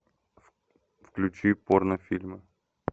включи порнофильмы